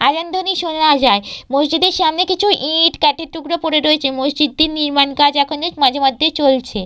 আজান ধ্বনি শোনা যায়। মসজিদের সামনে কিছু ইট কাঠের টুকরো পরে রয়েছে। মসজিদটির নির্মাণ কাজ এখনো মাঝে মধ্যেই চলছে।